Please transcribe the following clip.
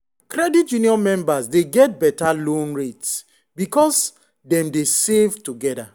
credit union members dey get better loan rates because dem dey save together.